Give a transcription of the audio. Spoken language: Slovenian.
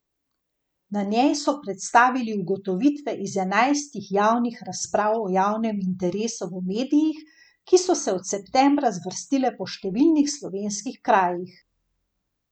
Na njej so predstavili ugotovitve iz enajstih javnih razprav o javnem interesu v medijih, ki so se od septembra zvrstile po številnih slovenskih krajih.